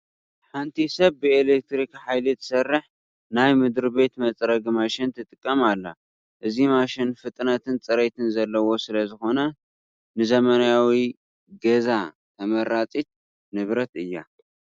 ሓንቲ ሰብ ብኤለክትሪክ ሓይሊ ትሰርሕ ናይ መድሪቤት መፅረጊ ማሽን ትጥቀም ኣላ፡፡ እዚ ማሽን ፍጥነትን ፅሬትን ዘለዋ ስለዝኾነት ንዘመናዊ ገዛ ተመራፂት ንብረት እያ፡፡